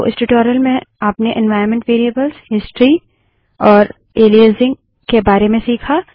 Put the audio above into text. तो इस ट्यूटोरियल में आपने एन्वाइरन्मन्ट वेरिएबल्स हिस्ट्री और एलाइजिंग के बारे में सीखा